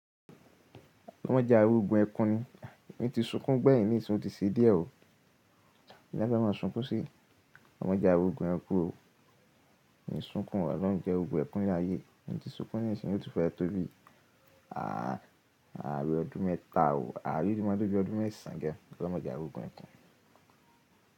Olorun ma jẹ ari ogun ẹkún ni, ẹ̀mi ti súnkún gbẹ́́yìn nísin oo tí ṣe díẹ̀ o. Kilafe máa ń súnkún sí. Olorun ma jẹ ki ari ogun ẹkún o, ẹ̀ ń súnkún, ọlọ́run jẹ́ ari ogun ẹkún láyé, ẹ̀ ń ti súnkún ní ìsìn yóò tún fẹ́ tó bí i. Àárín ọdún mẹ́ta o, àárín yí máa tó bí i ọdún mẹ́sàn án gẹ́, ọlọ́run ma jẹ ari ogun ẹkún.